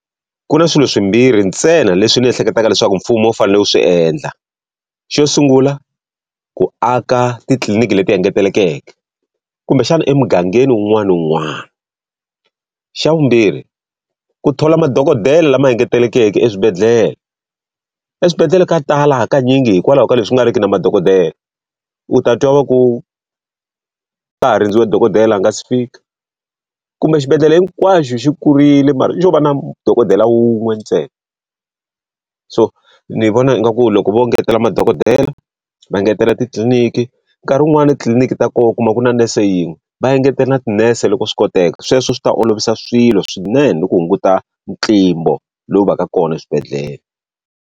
Ku na swilo swimbirhi ntsena leswi ni ehleketaka leswaku mfumo wu fanele ku swi endla. Xo sungula ku aka titliliniki leti engetelekeke, kumbexana emugangeni wun'wana ni wun'wana. Xa vumbirhi ku thola madokodela lama engetelekeke eswibedhlele. Eswibedhlele ka tala hakanyingi hikwalaho ka leswi ku nga ri ki na madokodela. U ta twa va ku nga ha rindziwe dokodela a nga si fika, kumbe xibedhlele hinkwaxo xi kurile mara xo va na dokodela wun'we ntsena. So ni vona ingaku loko vo ngetela madokodela, va ngetela titliliniki, nkarhi wun'wani na titliliniki ta kona u kuma ku na nese yin'we. Va engetela na tinese loko swi koteka, sweswo swi ta olovisa swilo swinene ku hunguta ntlimbo lowu va ka kona eswibedhlele.